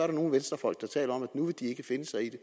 der nogle venstrefolk der taler om at nu vil de ikke finde sig i det